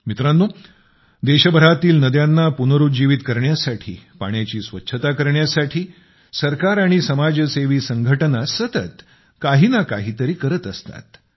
मित्रांनो देशभरातील नद्यांना पुनरुज्जीवित करण्यासाठी पाण्याची स्वच्छता करण्यासाठी सरकार आणि समाजसेवी संघटना सतत काही ना काही तरी करत असतात